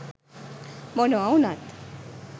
මොනව වුණත්